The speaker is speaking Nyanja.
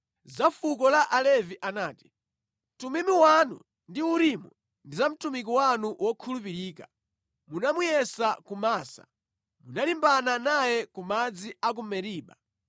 Za fuko la Alevi anati: “Tumimu wanu ndi Urimu ndi za mtumiki wanu wokhulupirika. Munamuyesa ku Masa; munalimbana naye ku madzi a ku Meriba.